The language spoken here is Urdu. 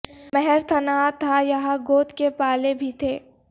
مہر تنہا تھا یہاں گود کے پالے بھی تھے